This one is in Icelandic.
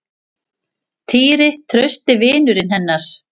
Týri, trausti vinurinn hennar.